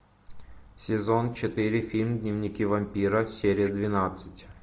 сезон четыре фильм дневники вампира серия двенадцать